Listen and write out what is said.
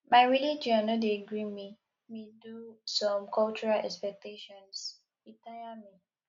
my religion no dey gree me me do some cultural expectations e tire me